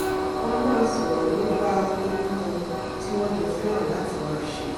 wọ́n á máa sọ̀rọ̀ nípa ohun kan tí wọ́n jọ fẹ́raǹ láti máa ṣe